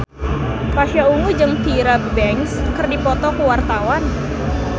Pasha Ungu jeung Tyra Banks keur dipoto ku wartawan